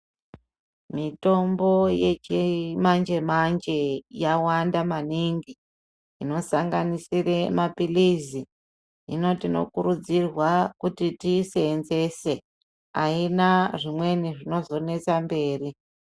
Mitombo yechimanje manje yawanda maningi inosanganisira maphirizi . Hino tinokurudzirwa tiiseenzese. Haina zvinozonesa mberi.